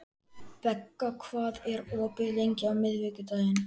Begga, hvað er opið lengi á miðvikudaginn?